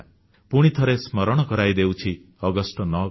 ପୁଣିଥରେ ସ୍ମରଣ କରାଇ ଦେଉଛି ଅଗଷ୍ଟ 9 କଥା